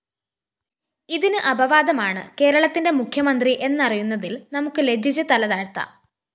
ഇതിന് അപവാദമാണ് കേരളത്തിന്റെ മുഖ്യമന്ത്രി എന്നറിയുന്നതില്‍ നമുക്ക് ലജ്ജിച്ച് തലതാഴ്ത്താം